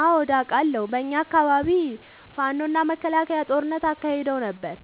አዎድ አቃለሁ። በኛ አካባቢ ፋኖ እና መከላከያ ጦርነት አካሂደው ነበር።